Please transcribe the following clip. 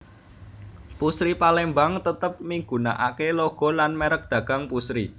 Pusri Palembang tetep migunakake logo lan merk dagang Pusri